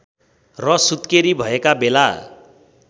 र सुत्केरी भएका बेला